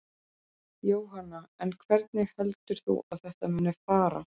Jóhanna: En hvernig heldur þú að þetta muni fara?